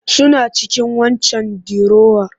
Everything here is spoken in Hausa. Suna cikin waccan dirowar